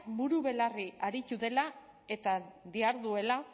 buru belarri aritu dela eta diharduela